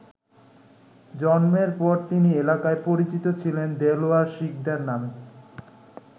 জন্মের পর তিনি এলাকায় পরিচিত ছিলেন দেলোয়ার শিকদার নামে।